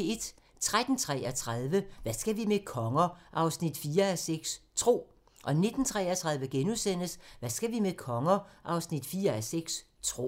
13:33: Hvad skal vi med konger? 4:6 – Tro 19:33: Hvad skal vi med konger? 4:6 – Tro *